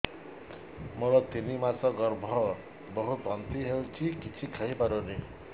ମୋର ତିନି ମାସ ଗର୍ଭ ବହୁତ ବାନ୍ତି ହେଉଛି କିଛି ଖାଇ ପାରୁନି